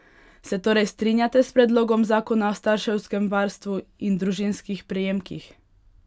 Se torej strinjate s predlogom zakona o starševskem varstvu in družinskih prejemkih?